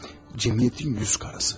Cəmiyyətin yüz karası.